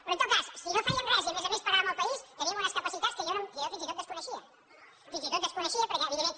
però en tot cas si no fèiem res i a més a més paràvem el país tenim unes capacitats que jo fins i tot desconeixia fins i tot les desconeixia perquè evidentment